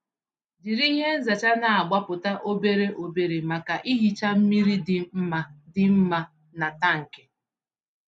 Jiri ihe nzacha na-agbapụta obere obere maka ihicha mmiri dị mma dị mma na tankị.